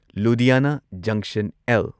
ꯂꯨꯙꯤꯌꯥꯅꯥ ꯖꯪꯁꯟ ꯑꯦꯜ.